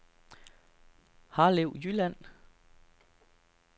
Harlev Jylland